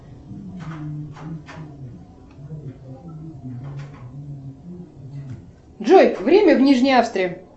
джой время в нижней австрии